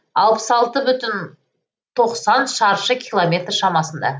алпыс алты бүтін тоқсан шаршы километр шамасында